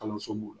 Kalanso b'o